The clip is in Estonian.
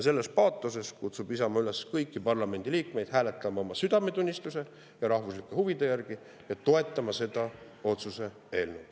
Sellise paatosega kutsub Isamaa kõiki parlamendi liikmeid üles hääletama oma südametunnistuse ja rahvuslike huvide järgi ning toetama seda otsuse eelnõu.